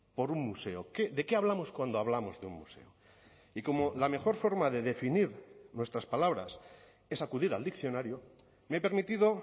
por un museo de qué hablamos cuando hablamos de un museo y como la mejor forma de definir nuestras palabras es acudir al diccionario me he permitido